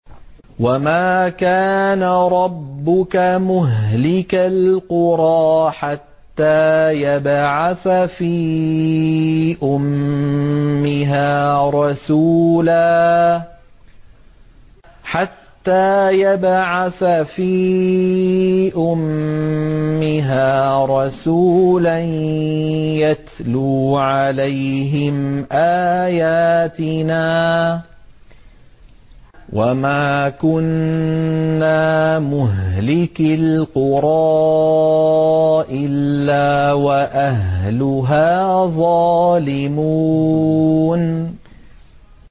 وَمَا كَانَ رَبُّكَ مُهْلِكَ الْقُرَىٰ حَتَّىٰ يَبْعَثَ فِي أُمِّهَا رَسُولًا يَتْلُو عَلَيْهِمْ آيَاتِنَا ۚ وَمَا كُنَّا مُهْلِكِي الْقُرَىٰ إِلَّا وَأَهْلُهَا ظَالِمُونَ